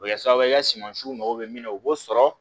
O bɛ kɛ sababu ye i ka sumasiw mako bɛ min na u b'o sɔrɔ